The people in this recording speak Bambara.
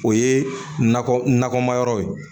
O ye nakɔ nakɔma yɔrɔ ye